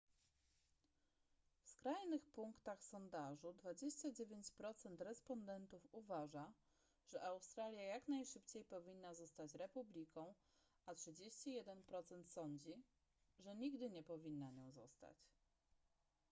w skrajnych punktach sondażu 29 procent respondentów uważa że australia jak najszybciej powinna zostać republiką a 31 procent sądzi że nigdy nie powinna nią zostać